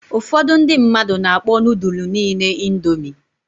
Ụfọdụ ndị mmadụ na-akpọ nudul niile indomi.